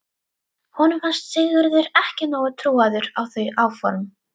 Honum fannst Sigurður ekki nógu trúaður á þau áform.